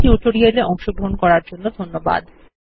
এই টিউটোরিয়াল এ অংশগ্রহন করার জন্য ধন্যবাদ